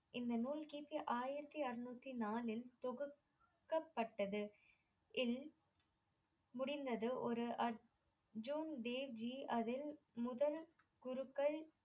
இந்த நூல் கி. பி ஆயிரத்தி அறநூத்தி நாலில் தொகுக்கப்பட்டது இல் முடிந்தது ஒரு அர்ஜுன் தேவ்ஜி அதில் முதல் குருக்கள்